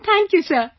Thank you sir